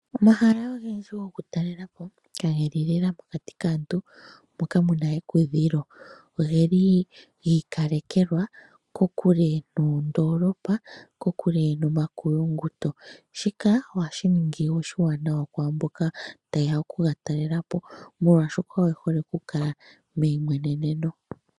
Omahala ogendji goku talelapo kaa geli lela mokati kaantu moka muna ekudhilo, ogeli gi ikalekwa kokule nondoolopa kokule nomakulunguto. Shika oha shi ningi oshiwanawa kwaamboka ta yeya okuga talela po molwaaahoka oye hole kukala meyimweneneno.